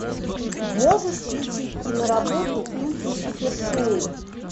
можешь включить киноработу в духе супершоу